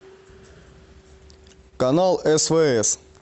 канал свс